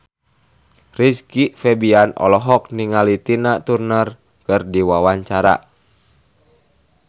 Rizky Febian olohok ningali Tina Turner keur diwawancara